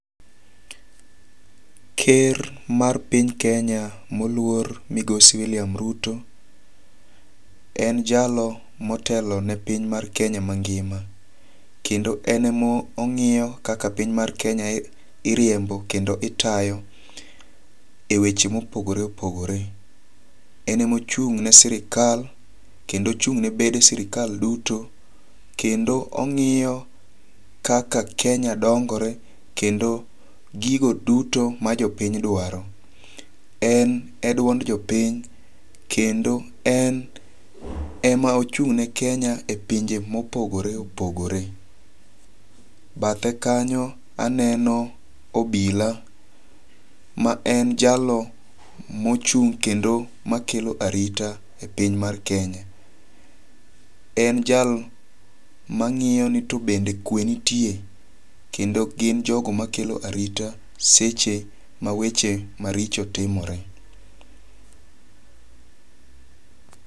Ker mar piny Kenya moluor migosi William Ruto. En jalo motelo ne piny mar Kenya mangima. Kendo en e mong'iyo kaka piny mar Kenya iriembo kendo itayo e weche mopogore opogore. Enemochung' ne sirkal kendo ochung' ne bede sirkal duto kendo ong'iyo kaka Kenya dongore kendo gigo duto ma jopiny dwaro. En e dwond jopiny kendo en ema ochung' ne Kenya e pinje mopogore opogore. Bathe kanyo aneno obila ma en jalno mochung' kendo ma kelo arita e piny mar Kenya. En jal mang'iyo ni tobe kwe nitie kendo gin jogo makelo arita seche ma weche maricho timore.